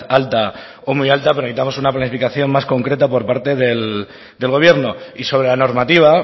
alta o muy alta pero necesitamos una planificación más concreta por parte del gobierno y sobre la normativa